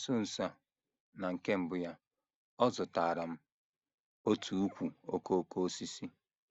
Na nso nso a, na nke mbụ ya, ọ zụtaara m otu ùkwù okooko osisi.